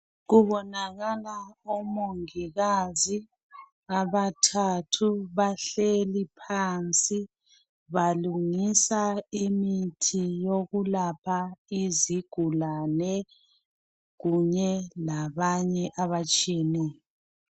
Kubonakala omongikazi abathathu bahleli phansi balungisa imithi yokulapha izigulane kunye labanye abatshiyeneyo.